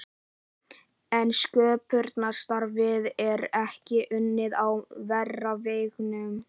En sköpunarstarfið er ekki unnið á þeirra vegum.